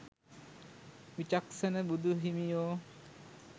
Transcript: විචක්ෂණ බුදුහිමියෝ